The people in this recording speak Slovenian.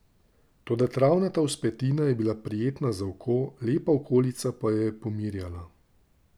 Toda travnata vzpetina je bila prijetna za oko, lepa okolica pa jo je pomirjala.